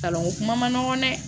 Kalanko kuma man nɔgɔn dɛ